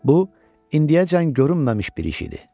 Bu, indiyəcən görünməmiş bir iş idi.